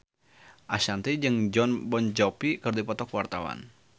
Ashanti jeung Jon Bon Jovi keur dipoto ku wartawan